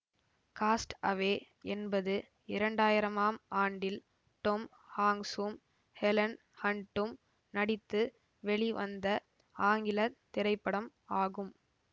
cost Away என்பது இரண்டாயிரமாம் ஆண்டில் டொம் ஹாங்ஸூம் ஹெலன் ஹன்டும் நடித்து வெளி வந்த ஆங்கில திரைப்படம் ஆகும்